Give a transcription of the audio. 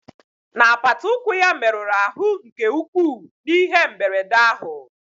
N'apata ụkwụ ya merụrụ ahụ nke ukwuu n'ihe mberede ahụ